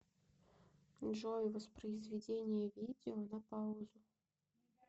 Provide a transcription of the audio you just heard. джой воспроизведение видео на паузу